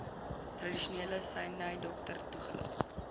tradisionele snydokter toegelaat